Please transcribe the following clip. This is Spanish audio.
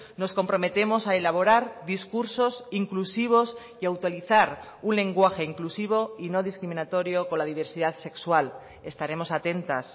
nos comprometemos a elaborar discursos inclusivos y a autorizar un lenguaje inclusivo y no discriminatorio con la diversidad sexual estaremos atentas